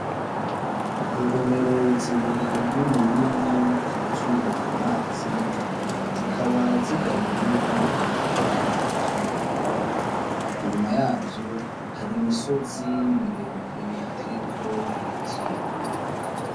Ingomero zibiri nini nini ,zuzuye amazi zikaba zigabuwemwo n’akayira gatoyi , inyuma yavyo hari imisozi miremire iteyeko ibiti.